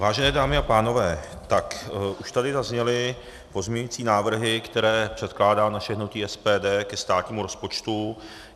Vážené dámy a pánové, tak už tady zazněly pozměňovací návrhy, které předkládá naše hnutí SPD ke státnímu rozpočtu.